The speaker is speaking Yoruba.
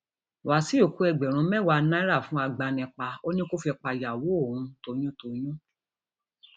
wàsíù kó um ẹgbẹrún mẹwàá náírà fún agbanipa um ó ní kó fi pàyàwó òun toyyún